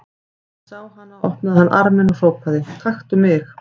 Þegar hann sá hana opnaði hann arminn og hrópaði: Taktu mig!